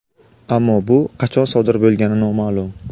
Ammo bu qachon sodir bo‘lgani noma’lum.